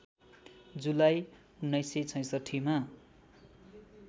जुलाई १९६६ मा